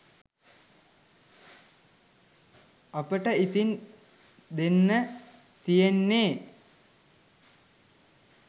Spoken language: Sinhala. අපිට ඉතින් දෙන්න තියෙන්නෙ